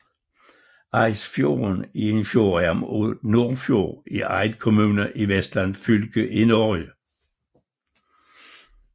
Eidsfjorden er en fjordarm af Nordfjord i Eid kommune i Vestland fylke i Norge